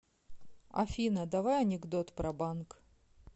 афина давай анекдот про банк